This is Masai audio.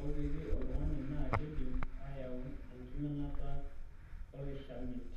oopiki oltung'ani naa keidim aayau enkiminata olkishamiet.